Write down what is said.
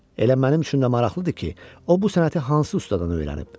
Elə mənim üçün də maraqlıdır ki, o bu sənəti hansı ustadan öyrənib?